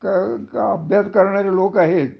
अभ्यास करणारे लोक आहेत